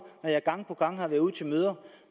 når jeg gang på gang har været ude til møder